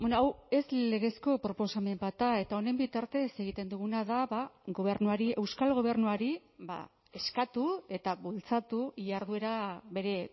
hau ez legezko proposamen bat da eta honen bitartez egiten duguna da gobernuari euskal gobernuari eskatu eta bultzatu jarduera bere